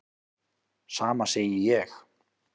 Sama segi ég.